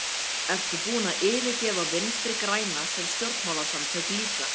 Ertu búinn að yfirgefa Vinstri-græna sem stjórnmálasamtök líka?